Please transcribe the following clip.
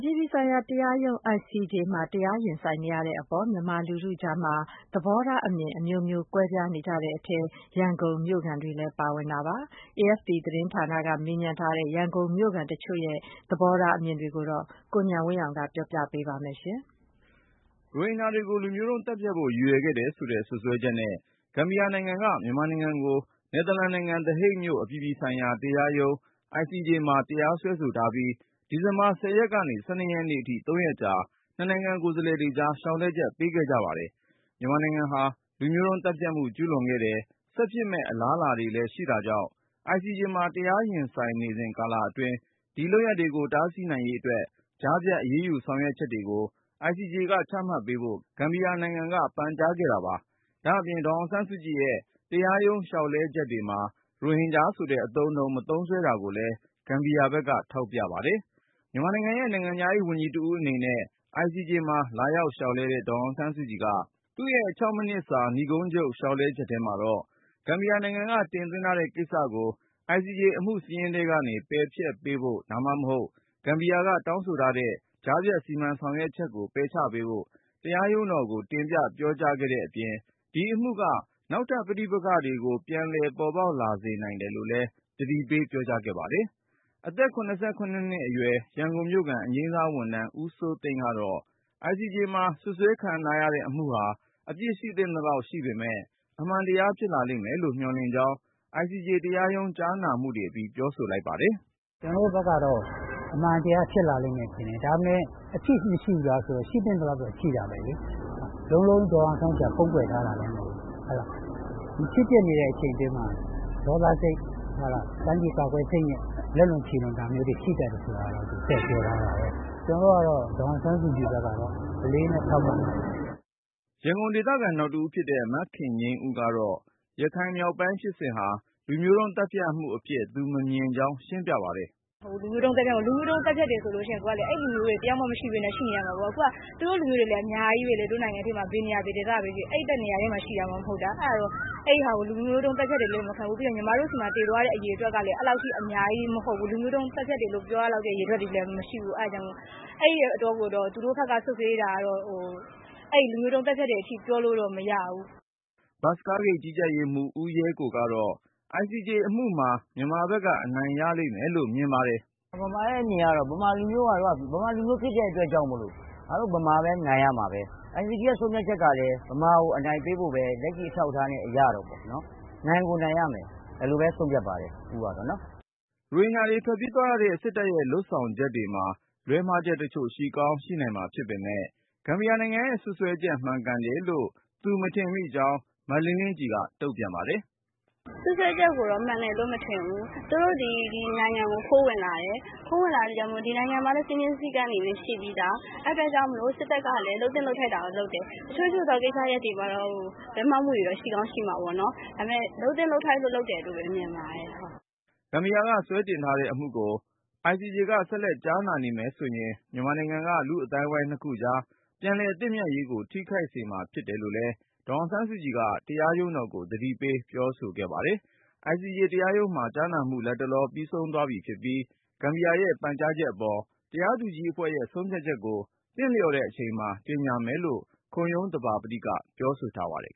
ြည်ပြည်ဆိုင်ရာတရားရုံး ICJ မှာ တရားရင်ဆိုင်နေရတဲ့အပေါ် မြန်မာလူထုကြားမှာ သဘောထားအမြင် အမျိုးမျိုး ကွဲပြားနေကြတဲ့အထဲ ရန်ကုန်မြို့ခံတွေလည်း ပါဝင်ပါတယ်။ AFP သတင်းဌာနက မေးမြန်းထားတဲ့ ရန်ကုန်မြို့ခံတချို့ရဲ့ သဘောထားအမြင် တွေကိုတော့ ကိုဉာဏ်ဝင်းအောင်က ပြောပြမှာပါ။ ရိုဟင်ဂျာတွေကို လူမျိုးတုံးသတ်ဖြတ်ဖို့ ရည်ရွယ်ခဲ့တယ်ဆိုတဲ့ စွပ်စွဲချက်နဲ့ ဂမ်ဘီယာနိုင်ငံက မြန်မာနိုင်ငံကို နယ်သာလန်နိုင်ငံ သည်ဟိတ်မြို့ အပြည်ပြည်ဆိုင်ရာတရားရုံး ICJ မှာ တရားစွဲဆိုထားပြီး ဒီဇင်ဘာ ၁၀ ရက်ကနေ ၁၂ ရက်နေ့အထိ ၃ ရက်ကြာ နှစ်နိုင်ငံကိုယ်စားလှယ်တွေ လျှောက်လဲချက် ပေးခဲ့ကြပါတယ်။ မြန်မာနိုင်ငံဟာ လူမျိုးတုံးသတ်ဖြတ်မှု ကျူးလွန်ခဲ့တယ်၊ ဆက်ဖြစ်မယ့် အလားအလာတွေလည်း ရှိတာကြောင့် ICJ မှာ တရားရင်ဆိုင်နေစဉ် ကာလအတွင်း ဒီလုပ်ရပ်တွေကို တားဆီးနိုင်ရေးအတွက် ကြားဖြတ် အရေးယူဆောင်ရွက်ချက်တွေကို ICJ ကချမှတ်ပေးဖို့ ဂမ်ဘီယာနိုင်ငံက ပန်ကြားခဲ့တာပါ။ ဒါ့အပြင် ဒေါ်အောင်ဆန်းစုကြည်ရဲ့ တရားရုံးလျှောက်လဲချက်တွေမှာ ရိုဟင်ဂျာဆိုတဲ့ အသုံးအနှုန်း မသုံးစွဲတာကိုလည်း ဂမ်ဘီယာဘက်က ထောက်ပြပါတယ်။ မြန်မာနိုင်ငံရဲ့နိုင်ငံခြားရေးဝန်ကြီးတဦးအနေနဲ့ ICJ မှာ လာရောက်လျှောက်လဲတဲ့ ဒေါ်အောင်ဆန်းစုကြည်က သူ့ရဲ့ ၆ မိနစ်စာ နိဂုံးချုပ် လျှောက်လဲချက်ထဲမှာတော့ ဂမ်ဘီယာနိုင်ငံက တင်သွင်းထားတဲ့ကိစ္စကို ICJ အမှုစာရင်းထဲကနေ ပယ်ဖျက်ပေးဖို့ ဒါမှမဟုတ် ဂမ်ဘီယာက တောင်းဆိုထားတဲ့ ကြားဖြတ် စီမံဆောင်ရွက်ချက်ကို ပယ်ချပေးဖို့ တရားရုံးတော်ကို တင်ပြပြောကြားခဲ့တဲ့အပြင်၊ ဒီအမှုက နောက်ထပ် ပဋိပက္ခတွေကို ပြန်ပေါ် လာစေနိုင်တယ်လို့လည်း သတိပေး ပြောကြားခဲ့ပါတယ်။ အသက် နှစ်အရွယ် ရန်ကုန်မြို့ခံ အငြိမ်းစားဝန်ထမ်း ဦးစိုးသိန်းကတော့ ICJ မှာ စွပ်စွဲခံရတဲ့အမှုဟာ အပြစ်ရှိသင့်သလောက် ရှိပေမဲ့ အမှန်တရားဖြစ်လာလိမ့်မယ်လို့ မျှော်လင့်ကြောင်း ICJ တရားရုံး ကြားနာမှုတွေအပြီး ပြောဆိုပါတယ်။ “ ကျနော်တို့ဘက်ကတော့ အမှန်တရားဖြစ်လာလိမ့်မယ်လို့ထင်တယ် အပြစ်မရှိဘူးလားဆိုတော့ ရှိသင့်သလောက်တော့ ရှိတာပဲလေ လုံးလုံး ဒေါ်အောင်ဆန်းစုကြည်က ဖုံးကွယ်ထားတာလည်းမဟုတ်ဘူး။ ဒီဖြစ်ပျက်နေတဲ့အချိန်အတွင်းမှာ ဒေါသစိတ်၊ တိုင်းပြည်ကာကွယ်စိတ်နဲ့ လက်လွန်ခြေလွန်တာမျိုးတွေ ရှိသင့်တယ်ဆိုတာကတော့ ပြောထားတာပဲ၊ ကျနော်တို့ကတော့ ဒေါ်အောင်ဆန်းစုကြည်ဘက်ကအလေးအနက်ထောက်ခံပါတယ်။” ရန်ကုန်ဒေသခံ နောက်တဦးဖြစ်တဲ့ မခင်ငြိမ်းဦးကတော့ ရခိုင်မြောက်ပိုင်းဖြစ်စဉ်ဟာ လူမျိုးတုန်းသတ်ဖြတ်မှုအဖြစ် သူမမြင်ကြောင်း ရှင်းပြ ပါတယ်။ “လူမျိုးတုန်းသတ်ဖြတ်တယ်ဆိုရင် အဲဒီလူမျိုးတွေ တယောက်မှ မရှိပဲနဲ့ နေရမှာပေါ့။ အခုက သူတို့လူမျိုးတွေလည်း အများကြီးပဲလေ တို့နိုင်ငံထဲမှာ ဘယ်နေရာ၊ ဘယ်ဒေသပဲဖြစ်ဖြစ် အဲဒီတနေရာထဲမှာ ရှိတာမှ မဟုတ်တာ ။ အဲဒါကို လူမျိုးတုန်းသတ်ဖြတ်တယ်လို့ မခံယူဘူး။ နောက်ပြီးတော့ ညီမတို့ဆီမှာ သေသွားတဲ့ အရေအတွက်ကလည်း အဲလောက်အထိ အများကြီးမဟုတ်ဘူး။ လူမျိုးတုံးသတ်ဖြတ်တယ်လို့ ပြောရလောက်တဲ့အရေအတွက်လည်း မရှိဘူး ။ သူတို့ဘက်က စွပ်စွဲတာကတော့ လူမျိုးတုံးသတ်ဖြတ်တယ်အထိ ပြောလို့တော့မရဘူး။” ဘတ်စ်ကားဂိတ် ကြီးကြပ်ရေးမှူး ဦးရဲကိုကတော့ ICJ အမှုမှာ မြန်မာဘက်က အနိုင်ရလိမ့်မယ်လို့ မြင်ပါတယ်။ “ကျနော့်အမြင်ကတော့ မြန်မာလူမျိုးဖြစ်တဲ့အတွက်ကြောင့်မို့လို့ ငါတို့ မြန်မာပဲ နိုင်ရမှာပဲ ICJ ဆုံးဖြတ်ချက်ကလည်း လက်ရှိအထောက်အထားအရတော့ မြန်မာကို အနိုင်ပေးဖို့ပဲ ၊ နိုင်ကိုနိုင်ရမယ် ဒီလိုပဲ ဆုံးဖြတ်ပါတယ် ဦးကတော့။” ရိုဟင်ဂျာတွေ ထွက်ပြေးသွားရတဲ့ စစ်တပ်ရဲ့လုပ်ဆောင်ချက်တွေမှာ လွဲမှားချက်တချို့ ရှိကောင်း ရှိနိုင်မှာဖြစ်ပေမယ့် ဂမ်ဘီယာနိုင်ငံရဲ့ စွပ်စွဲချက် မှန်ကန်တယ်လို့ သူ မထင်မိကြောင်း အသက် ၂၆ အရွယ် မလင်းလင်းကြည်က တုန့်ပြန်ပါတယ်။ “စွပ်စွဲချက်ကိုတော့ မှန်တယ်လို့ မထင်ဘူး။ သူတို့ ဒီနိုင်ငံကို ခိုးဝင်လာတယ် ခိုးဝင်လာတဲ့အတွက်ကြောင့်မို့ ဒီနိုင်ငံမှာလည်း စည်းမျဉ်းစည်းကမ်းတွေလည်း ရှိပြီးသား ။ အဲဒီအတွက်ကြောင့် စစ်တပ်ကလည်း လုပ်သင့်လုပ်ထိုက်တာကို လုပ်တယ်။ တချို့သော ကိစ္စတွေမှာတော့ လွဲမှားမှုတော့ ရှိကောင်းရှိမှာပေါ့နော်။ ဒါပေမယ့် လုပ်သင့်လုပ်ထိုက်လို့ လုပ်တယ်လို့ မြင်ပါတယ်။” ဂမ်ဘီယာက စွဲတင်ထားတဲ့အမှုကို ICJ က ဆက်လက်ကြားနာနေမယ်ဆိုရင် မြန်မာနိုင်ငံက လူ့အသိုင်းအဝိုင်းနှစ်ခုကြား ပြန်လည်သင့်မြတ် ရေးကို ထိခိုက်စေမှာ ဖြစ်တယ်လို့လည်း ဒေါ်အောင်ဆန်းစုကြည်က တရားရုံးတော်ကို သတိပေးပြောဆိုခဲ့ပါတယ်။ ICJ တရားရုံးမှာ ကြားနာမှု လတ်တလော ပြီးဆုံးသွားပြီဖြစ်ပြီး၊ ဂမ်ဘီယာရဲ့ပန်ကြားချက်အပေါ် တရားသူကြီးအဖွဲ့ရဲ့ ဆုံးဖြတ်ချက်ကို သင့်လျော်တဲ့အချိန်မှာ ကြေညာ မယ်လို့ ခုံရုံးသဘာပတိက ပြောဆိုထားပါတယ်